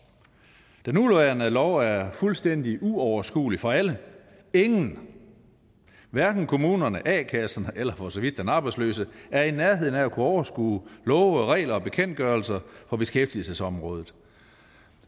den nuværende lov er fuldstændig uoverskuelig for alle ingen hverken kommunerne a kasserne eller for så vidt den arbejdsløse er i nærheden af at kunne overskue love regler og bekendtgørelser på beskæftigelsesområdet